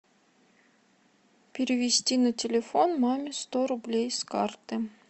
перевести на телефон маме сто рублей с карты